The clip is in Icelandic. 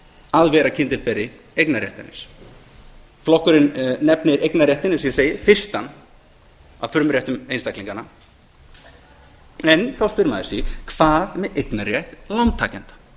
að vera kyndilberi eignarréttarins flokkurinn nefnir eignarréttinn fyrstan af frumréttur einstaklinganna en þá spyr maður sig hvað með eignarrétt lántakenda